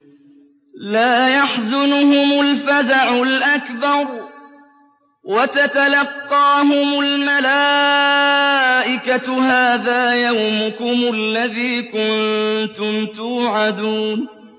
لَا يَحْزُنُهُمُ الْفَزَعُ الْأَكْبَرُ وَتَتَلَقَّاهُمُ الْمَلَائِكَةُ هَٰذَا يَوْمُكُمُ الَّذِي كُنتُمْ تُوعَدُونَ